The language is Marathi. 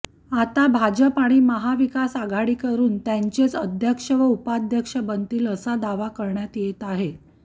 यात भाजप व महाविकास आघाडीकडून त्यांचेच अध्यक्ष व उपाध्यक्ष बनतील असा दावा करण्यात येत आहे